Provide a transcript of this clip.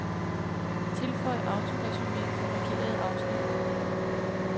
Tilføj autoresumé for markerede afsnit.